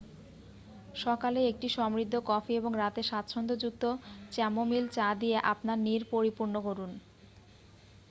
সকালে একটি সমৃদ্ধ কফি এবং রাতে স্বাচ্ছন্দ্যযুক্ত চ্যামোমিল চা দিয়ে আপনার নীড় পরিপূর্ণ করুন